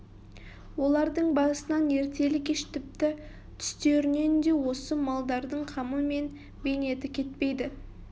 олардың басынан ертелі-кеш тіпті түстерінен де осы малдардың қамы мен бейнеті кетпейді